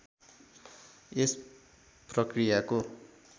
यस प्रक्रियाको